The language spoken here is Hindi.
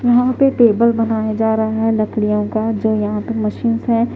यहाँ पे टेबल बनाया जा रहा है लकड़ियों का जो यहाँ पे मशींस हैं।